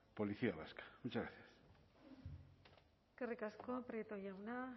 policía vasca muchas gracias eskerrik asko prieto jauna